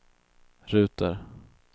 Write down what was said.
ruter